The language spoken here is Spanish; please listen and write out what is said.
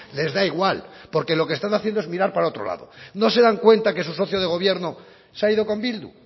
les da igual porque lo que están haciendo es mirar para otro lado no se dan cuenta que su socio de gobierno se ha ido con bildu